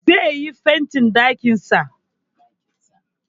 Zai yi fentin ɗakin sa